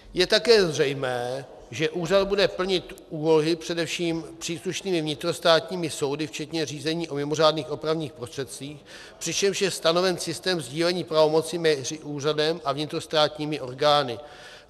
Je také zřejmé, že úřad bude plnit úlohy především příslušnými vnitrostátními soudy včetně řízení o mimořádných opravných prostředcích, přičemž je stanoven systém sdílení pravomocí mezi úřadem a vnitrostátními orgány.